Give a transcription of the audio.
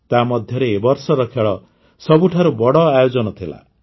ତାମଧ୍ୟରେ ଏ ବର୍ଷର ଖେଳ ସବୁଠାରୁ ବଡ଼ ଆୟୋଜନ ଥିଲା